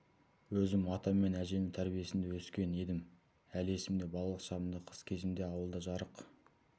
өзім атам мен әжемнің тәрбиесінде өскен едім әлі есімде балалық шағымда қыс кезінде ауылда жарық